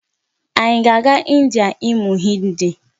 Anyị a ga-aga India ịmụ Hindi?